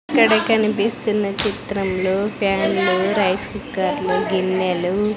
ఇక్కడ కనిపిస్తున్న చిత్రంలో ఫ్యాన్లు రైస్ కుక్కర్ లు గిన్నెలు--